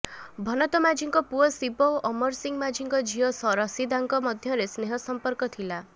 ଭନତ ମାଝୀଙ୍କ ପୁଅ ଶିବ ଓ ଅମର ସିଂହ ମାଝିଙ୍କ ଝିଅ ରଶିଦାଙ୍କ ମଧ୍ୟରେ ସ୍ନେହ ସମ୍ପର୍କ ଥିଲା